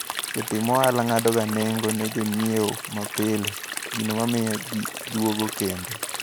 Jotim ohala ng`adoga nengo ne jonyiewo mapile, gino mamiyo ji duogo kendo.